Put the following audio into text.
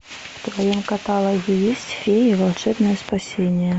в твоем каталоге есть феи волшебное спасение